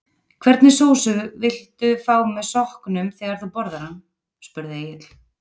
Hvernig sósu vildu fá með sokknum þegar þú borðar hann? spurði Egill.